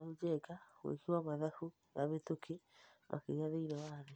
Kamau Njenga:Mwĩki wa mathabu na mĩtũkĩ makĩria thĩiniĩ wa thĩ.